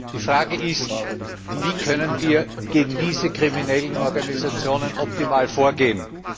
Die Frage ist Wie können wir gegen diese kriminellen Organisationen optimal vorgehen?